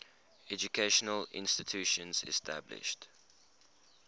educational institutions established